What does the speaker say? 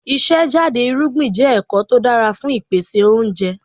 Ìṣe jáde irúgbìn jẹ́ ẹ̀kọ́ tó dára fún ìpèsè oúnjẹ.